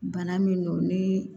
Bana min don ni